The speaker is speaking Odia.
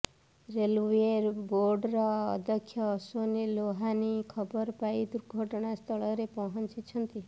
ରେଲୱେ ବୋର୍ଡ଼ର ଅଧ୍ୟକ୍ଷ ଅଶ୍ୱିନୀ ଲୋହାନୀ ଖବର ପାଇ ଦୁର୍ଘଟଣା ସ୍ଥଳରେ ପହଞ୍ଚିଛନ୍ତି